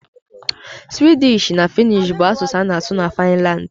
Suwịdịsh na Fịnnịsh bụ asụsụ a na-asụ na Finlandi.